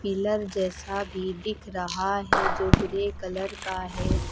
Colour जैसा भी दिख रहा है जो ग्रे कलर का है।